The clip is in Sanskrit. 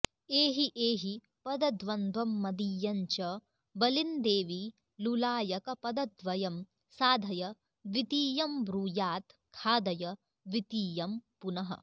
एहि एहि पदद्वन्द्वम्मदीयञ्च बलिन्देवि लुलायकपदद्वयं साधय द्वितीयम्ब्रूयात्खादय द्वितीयम्पुनः